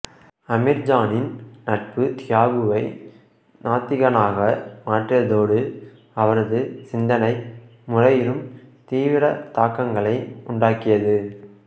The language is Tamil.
அமீர்ஜானின் நட்பு தியாகுவை நாத்திகனாக மாற்றியதோடு அவரது சிந்தனை முறையிலும் தீவிர தாக்கங்களை உண்டாக்கியது